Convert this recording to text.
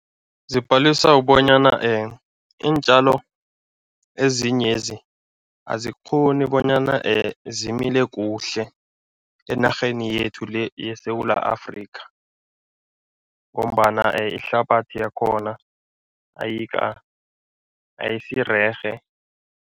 Zibhaliswa kubonyana iintjalo ezinyezi azikghoni bonyana zimile kuhle enarheni yethu le yeSewula Afrika ngombana ihlabathi yakhona ayisirerhe.